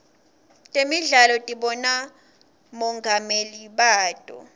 temidlalo tinabomongameli bato